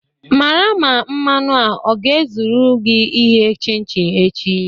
Mara ma mmanụ a ọ ga-ezurugị ighe chin chin echi.